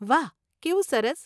વાહ, કેવું સરસ.